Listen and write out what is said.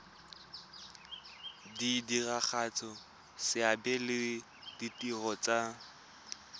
diragatsa seabe le ditiro tsa